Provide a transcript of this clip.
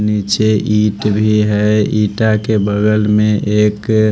नीचे ईंट भी है ईटा के बगल में एक--